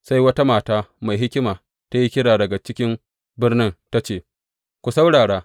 Sai wata mata mai hikima ta yi kira daga ciki birnin ta ce, Ku saurara!